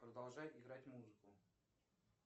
продолжай играть музыку